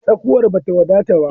Tsakuwar bata wadata ba.